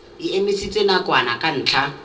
e emisitswe nakwana ka ntlha